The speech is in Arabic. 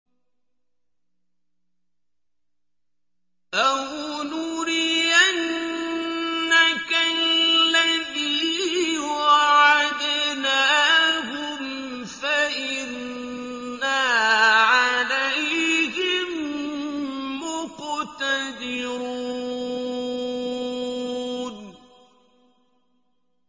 أَوْ نُرِيَنَّكَ الَّذِي وَعَدْنَاهُمْ فَإِنَّا عَلَيْهِم مُّقْتَدِرُونَ